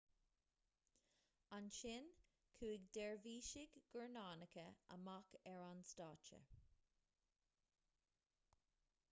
ansin chuaigh deirbhísigh guairneánacha amach ar an stáitse